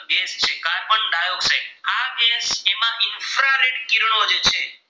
કિરણો જે છે.